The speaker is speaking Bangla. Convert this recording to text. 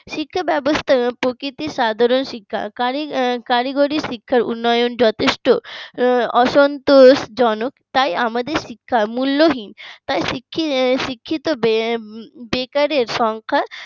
শিক্ষা ব্যবস্থার প্রতিটি সাধারণ শিক্ষা কারিগরি শিক্ষার উন্নয়ন যথেষ্ট অসন্তোষজনক তাই আমাদের শিক্ষা মূল্যহীন। শিক্ষিত শিক্ষিত বেকারের সংখ্যা